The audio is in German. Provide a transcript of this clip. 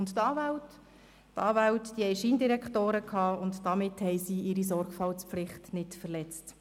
Die Anwälte selbst aber hatten Scheindirektoren und damit ihre Sorgfaltspflicht nicht verletzt.